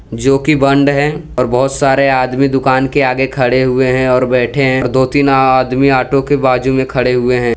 जोकि बंद है और बहोत सारे आदमी दुकान के आगे खड़े हुए हैं और बैठे हैं दो तीन आदमी ऑटो के बाजू में खड़े हुए हैं।